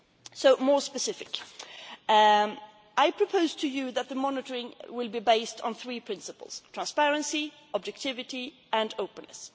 years. So more specifically I propose to you that the monitoring will be based on three principles transparency, objectivity, and openness.